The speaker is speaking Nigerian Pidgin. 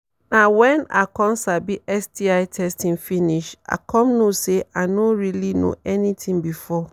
na when i come sabi sti testing finish i come know say i no really know anything before